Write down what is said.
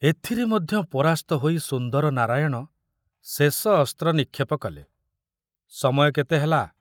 ଏଥିରେ ମଧ୍ୟ ପରାସ୍ତ ହୋଇ ସୁନ୍ଦର ନାରାୟଣ ଶେଷ ଅସ୍ତ୍ର ନିକ୍ଷେପ କଲେ, ସମୟ କେତେ ହେଲା?